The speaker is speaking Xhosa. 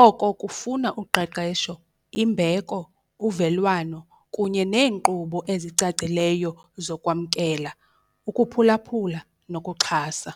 Oko kufuna uqeqesho, imbeko, uvelwano kunye neenkqubo ezicacileyo zokwamkela, ukuphulaphula nokuxhasa.